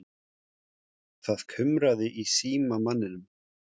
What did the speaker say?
Það kumraði í símamanninum.